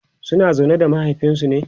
suna zaune da mahaifinsu ne?